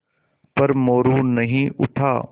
पर मोरू नहीं उठा